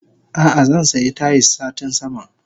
Ah ah zansiya Tayis satin sama.